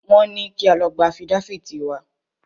Wọ́n ní kí a lọ gba afídáfìtì wá.